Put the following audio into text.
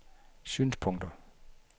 synspunkter